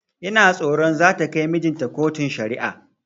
Ina tsoron zata kai mijinta kotun shari'a